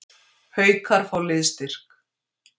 Haukar fá liðsstyrk